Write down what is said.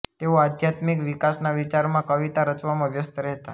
તેઓ આધ્યાત્મિક વિકાસના વિચારમાં કવિતા રચવામાં વ્યસ્ત રહેતા